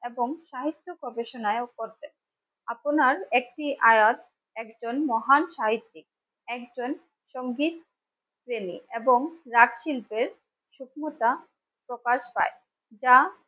এবং সাহিত্য প্রবেশনায়ও করবেন. আপনার একটি আয়াত একজন মহান সাহিত্যিক একজন. সংগীত প্রেমি এবং রাগ শিল্পের প্রকাশ পায় যা